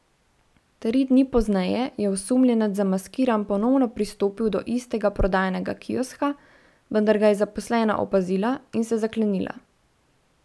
Tri dni pozneje je osumljenec zamaskiran ponovno pristopil do istega prodajnega kioska, vendar ga je zaposlena opazila in se zaklenila.